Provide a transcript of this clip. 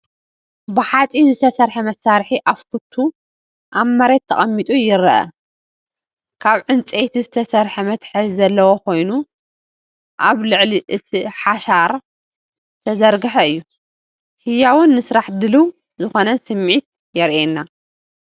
ብሓጺን ዝተሰርሐ መሳርሒ (ኣፍኩቱ) ኣብ መሬት ተቐሚጡ ይረአ። ካብ ዕንጨይቲ ዝተሰርሐ መትሓዚ ዘለዎ ኮይኑ ኣብ ልዕሊ እቲ ሓሸራ ዝተዘርግሐ እዩ። ህያውን ንስራሕ ድሉው ዝኾነን ስምዒት የርኤና።